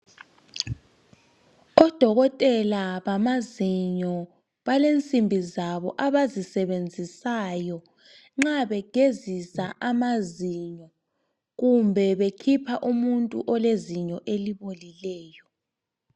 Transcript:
Odokotela bamazinyo balensimbi zabo abazisebenzisayo nxa begezisa amazinyo kumbe bekhipha umuntu olezinyo elibolileyo.